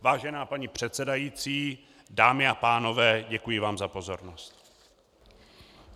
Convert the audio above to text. Vážená paní předsedající, dámy a pánové, děkuji vám za pozornost.